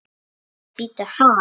Bíddu bíddu ha?